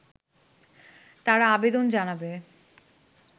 তারা আবেদন জানাবে